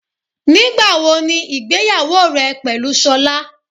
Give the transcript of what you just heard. Nígbà wo ni ìgbéyàwó rẹ pẹ̀lú Sola?